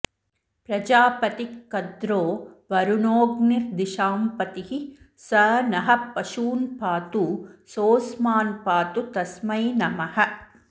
प्रजापतिकद्रो वरुणोऽग्निर्दिशाम्पतिः स नः पशून्पातु सोऽस्मान्पातु तस्मै नमः